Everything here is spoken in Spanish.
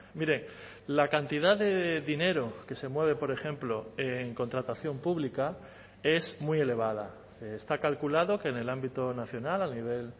mire la cantidad de dinero que se mueve por ejemplo en contratación pública es muy elevada está calculado que en el ámbito nacional a nivel